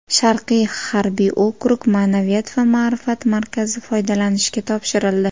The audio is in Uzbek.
Sharqiy harbiy okrug Ma’naviyat va ma’rifat markazi foydalanishga topshirildi.